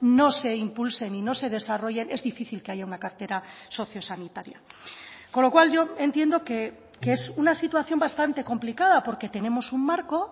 no se impulsen y no se desarrollen es difícil que haya una cartera socio sanitaria con lo cual yo entiendo que es una situación bastante complicada porque tenemos un marco